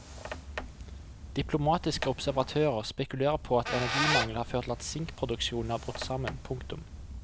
Diplomatiske observatører spekulerer på at energimangel har ført til at sinkproduksjonen er brutt sammen. punktum